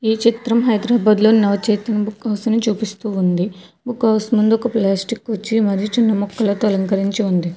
ఈ చిత్రం హైదరాబాద్ లో నవచేతన బుక్ హౌస్ నీ చూపిస్తూ ఉంది బుక్ హౌస్ ముందు ఒక పిలాస్టిక్ కుర్చీ మరియు చిన్న మొక్కలతో అలంకరించి ఉంది.